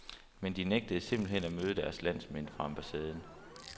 Men de nægtede simpelt hen at møde deres landsmænd fra ambassaden.